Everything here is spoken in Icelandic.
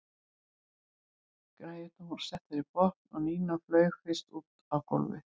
Græjurnar voru settar í botn og Nína flaug fyrst út á gólfið.